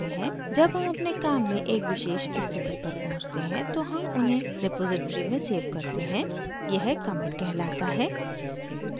जब हम अपने काम में एक विशेष स्थिति पर पहुँचते हैं तो हम उन्हें repository में सेव करते हैं यह commit कहलाता है